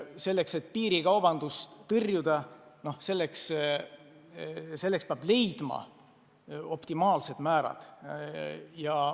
Selleks, et piirikaubandust tõrjuda, peab kehtestama optimaalsed aktsiisimäärad.